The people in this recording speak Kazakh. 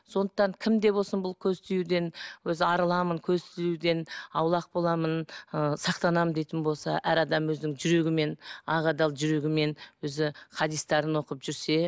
сондықтан кім де болсын бұл көз тиюден өзі арыламын көз тиюден аулақ боламын ы сақтанамын дейтін болса әр адам өзінің жүрегімен ақ адал жүрегімен өзі хадистерін оқып жүрсе